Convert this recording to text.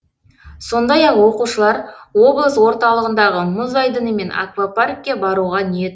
сондай ақ оқушылар облыс орталығындағы мұз айдыны мен аквапаркке баруға ниет